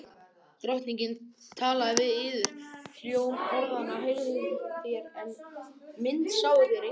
Drottinn talaði við yður. hljóm orðanna heyrðuð þér, en mynd sáuð þér enga.